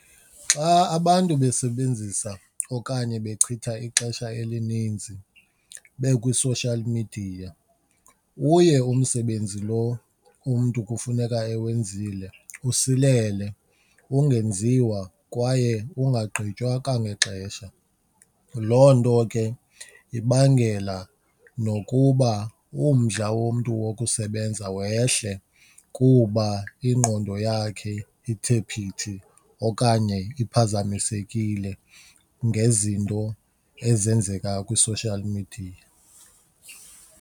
Xa abantu besebenzisa okanye bechitha ixesha elininzi bekwi-social media uye umsebenzi lo umntu kufuneka ewenzileyo usilele, ungenziwa kwaye ungagqitywa kwangexesha. Loo nto ke ibangela nokuba umdla womntu wokusebenza wehle kuba ingqondo yakhe ithe phithi okanye iphazamisekile ngezinto ezenzeka kwi-social media.